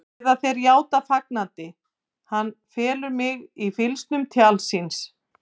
Eða þeir játa fagnandi: Hann felur mig í fylgsnum tjalds síns.